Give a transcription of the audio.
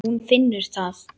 Hún finnur það.